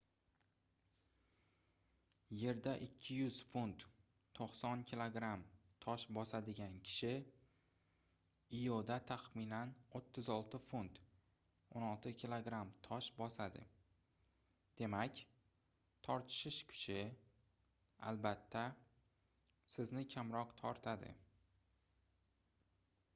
yerda 200 funt 90 kg tosh bosadigan kishi ioda taxminan 36 funt 16 kg tosh bosadi. demak tortishish kuchi albatta sizni kamroq tortadi